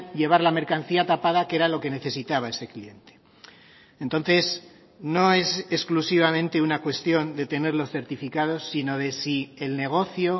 llevar la mercancía tapada que era lo que necesitaba ese cliente entonces no es exclusivamente una cuestión de tener los certificados sino de si el negocio